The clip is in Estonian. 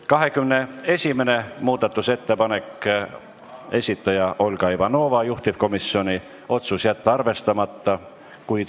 21. muudatusettepaneku esitaja on Olga Ivanova, juhtivkomisjoni otsus: jätta arvestamata.